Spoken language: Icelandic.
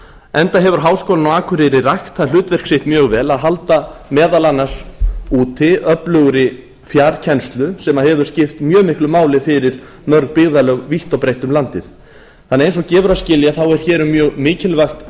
enda hefur háskólinn á akureyri rækt það hlutverk sitt mjög vel að halda meðal annars úti öflugri fjarkennslu sem hefur skipt mjög miklu máli fyrir mörg byggðarlög vítt og breitt um landið þannig að eins og gefur að skilja þá er hér um mjög mikilvægt